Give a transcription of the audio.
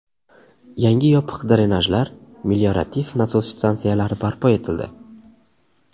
Yangi yopiq drenajlar, meliorativ nasos stansiyalari barpo etildi.